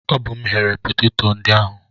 Ọ bụ mụ ghere peteto ndị ahụ.